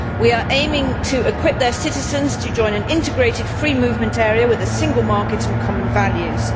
We are aiming to equip their citizens to join an integrated free movement area with a single market and common values.